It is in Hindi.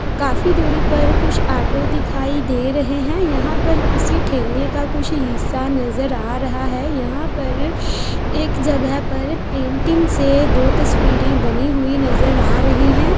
काफी दूरी पर कुछ ऑटो दिखाई दे रहें हैं। यहाँ पर किसी ठेले का कुछ हिस्सा नजर आ रहा है। यहाँ पर एक जगह पर पेंटिंग से दो तस्वीरें बनी हुई नजर आ रही हैं।